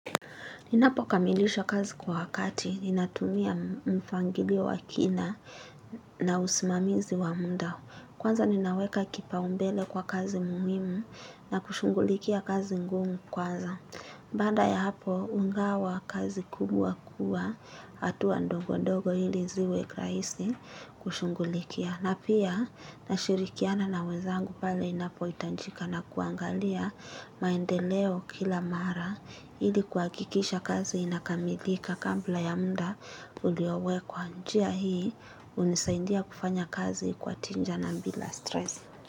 Ninapo kamilisha kazi kwa wakati, ninatumia mfangilio wa kina na usimamizi wa munda. Kwanza ninaweka kipaumbele kwa kazi muhimu na kushungulikia kazi ngumu kwanza. Baanda ya hapo, hungawa kazi kubwa kuwa, hatua ndongo ndogo ili ziwe rahisi kushungulikia. Na pia na shirikiana na wenzangu pale inapohitanjika na kuangalia maendeleo kila mara ili kuhakikisha kazi inakamilika kambla ya mda uliowekwa njia hii hunisaindia kufanya kazi kwa tinja na mbila stress.